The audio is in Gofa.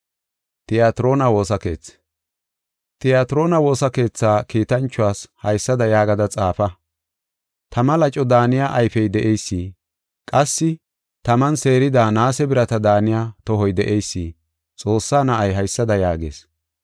“Tiyatiroona woosa keethaa kiitanchuwas haysada yaagada xaafa. Tama laco daaniya ayfey de7eysi, qassi taman seerida naase birata daaniya tohoy de7eysi, Xoossaa na7ay, haysada yaagees: